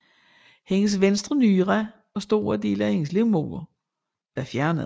Hendes venstre nyre og store dele af hendes livmoder var fjernet